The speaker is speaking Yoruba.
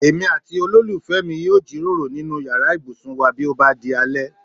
Èmi àti olólùfẹ́ mi yóò jíròrò nínú yàrá ibùsùn wá bí ó bá di alẹ́